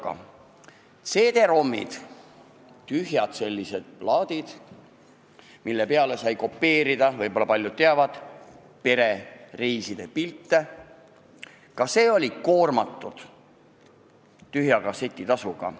Paljud teavad, et ka CD-ROM-id – sellised tühjad plaadid, mille peale sai kopeerida näiteks perereiside pilte – olid koormatud tühja kasseti tasuga.